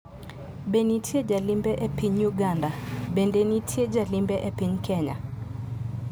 Be nitie jalimbe e piny Uganda, bende nitie jalimbe e piny Kenya?